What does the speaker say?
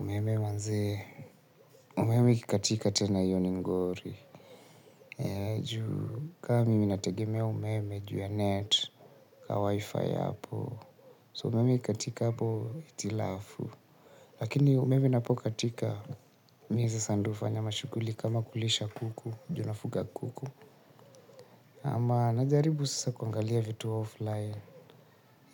Umeme manze. Umeme ikikatika tena hiyo ni ngori. Kaa mimi nategemea umeme juu ya net. Kaa wi-fi hapo. So umeme ikikatika hapo hitilafu. Lakini umeme napokatika. Mimi sasa ndo hufanya mashughuli kama kulisha kuku. Juu nafuga kuku. Ama najaribu sasa kuangalia vitu offline.